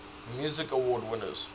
music awards winners